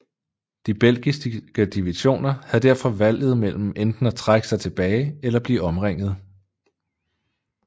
De belgiske divisioner havde derfor valget mellem enten at trække sig tilbage eller at blive omringede